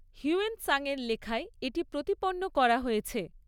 Hiuen Tsang এর লেখায় এটি প্রতিপন্ন করা হয়েছে।